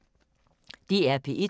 DR P1